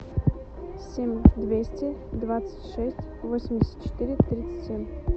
семь двести двадцать шесть восемьдесят четыре тридцать семь